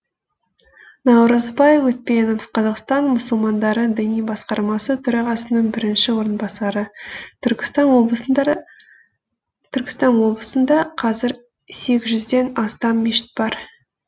наурызбай өтпенов қазақстан мұсылмандары діни басқармасы төрағасының бірінші орынбасары түркістан облысында қазір сегіз жүзден астам мешіт бар